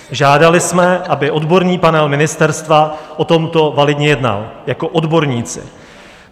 Žádali jsme, aby odborný panel ministerstva o tomto validně jednal jako odborníci.